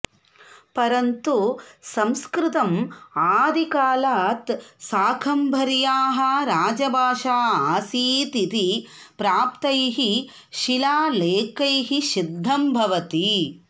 परन्तु संस्कृतम् आदिकालात् शाकम्भर्याः राजभाषा आसीत् इति प्राप्तैः शिलालेखैः सिद्धं भवति